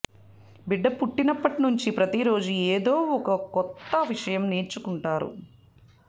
బిడ్డ పుట్టినప్పట్నుంచీ ప్రతీరోజూ ఏదో ఓ కొత్త విషయం నేర్చుకుంటారు